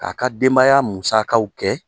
K'a ka denbaya musakaw kɛ